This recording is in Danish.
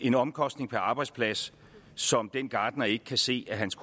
en omkostning per arbejdsplads som den gartner ikke kan se at hans